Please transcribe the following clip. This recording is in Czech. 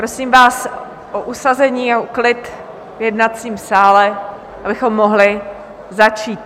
Prosím vás o usazení a klid v jednacím sále, abychom mohli začít.